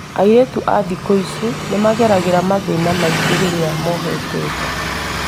Airĩtu a thikũ ici nĩmageragĩra mathĩna maingĩ rĩrĩa mohete nda